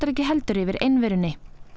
heldur ekki yfir einverunni